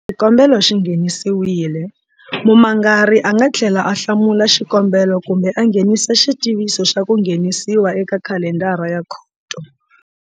Xikombelo xi nghenisiwile, mumangari a nga tlhela a hlamula xikombelo kumbe a nghenisa xitiviso xa ku nghenisiwa eka khalendara ya khoto.